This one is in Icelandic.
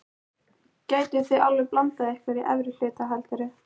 Gætuð þið alveg blandað ykkur í efri hlutann heldurðu?